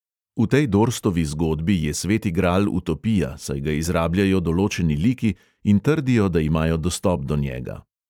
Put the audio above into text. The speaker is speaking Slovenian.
V tej dorstovi zgodbi je sveti gral utopija, saj ga izrabljajo določeni liki in trdijo, da imajo dostop do njega.